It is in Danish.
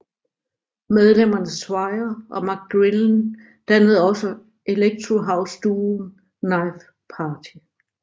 Medlemmerne Swire og McGrillen dannede også electro house duoen Knife Party